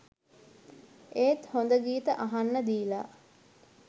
ඒත් හොඳ ගීත අහන්න දීලා